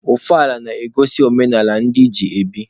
Ọfala na-egosi ọdịnaala ndị ji ebi.